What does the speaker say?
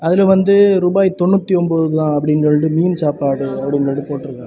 இது வந்து ரூபாய் தொண்ணுத்தொன்பது தான் அப்படின்னு சொல்லிட்டு மீன் சாப்பாடு அப்படின்னு சொல்லிட்டு போட்டுருக்காங்க.